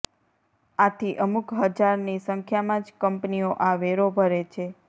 આથી અમુક હજારની સંખ્યમાં જ કંપનીઓ આ વેરો ભરે છે